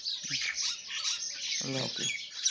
আল্লাহ হাফিজ।